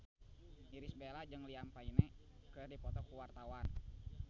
Irish Bella jeung Liam Payne keur dipoto ku wartawan